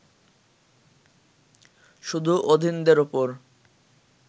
শুধু অধীনদের ওপর